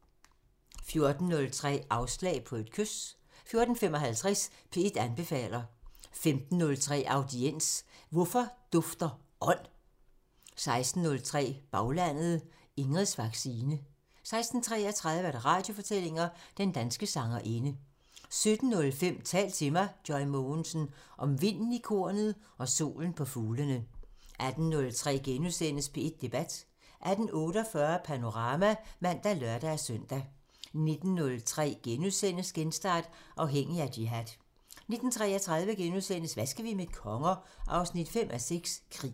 14:03: Afslag på et kys 14:55: P1 anbefaler 15:03: Audiens: Hvordan dufter ånd? 16:03: Baglandet: Ingrids vaccine 16:33: Radiofortællinger: Den danske sangerinde 17:05: Tal til mig – Joy Mogensen: Om vinden i kornet og solen på fuglene 18:03: P1 Debat * 18:48: Panorama (man og lør-søn) 19:03: Genstart: Afhængig af jihad * 19:33: Hvad skal vi med konger? 5:6 – Krig *